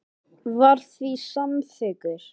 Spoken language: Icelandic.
Þetta sagði eitt sinn bandarískur heimspekingur.